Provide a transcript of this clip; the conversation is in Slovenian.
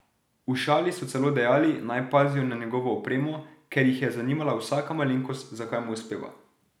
V šali so celo dejali, naj pazijo na njegovo opremo, ker jih je zanimala vsaka malenkost, zakaj mu uspeva.